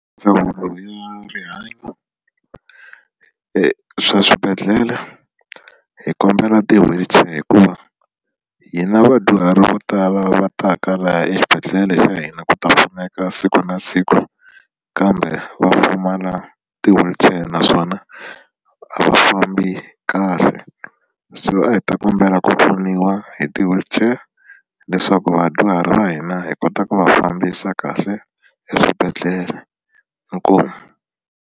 Ndzawulo ya rihanyo e swa swibedhlele hi kombela ti-wheelchair hikuva hi na vadyuhari vo tala va ta ka laha eswibedhlele xa hina ku ta pfuneka siku na siku kambe va pfumala ti-wheelchair naswona a va fambi kahle se a hi ta kombela ku pfuniwa hi ti-wheelchair leswaku vadyuhari va hina hi kota ku va fambisa kahle eswibedhlele inkomu.